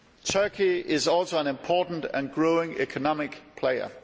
Turkey is also an important and growing economic player.